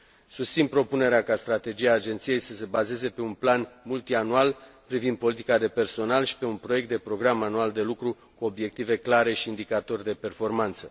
Susțin propunerea ca strategia agenției să se bazeze pe un plan multianual privind politica de personal și pe un proiect de program anual de lucru, cu obiective clare și indicatori de performanță.